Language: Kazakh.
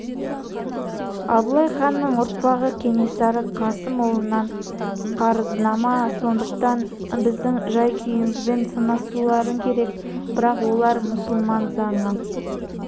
абылай ханның ұрпағы кенесары қасым ұлынан қарызнама сондықтан біздің жай-күйімізбен санасуларың керек бірақ олар мұсылман заңы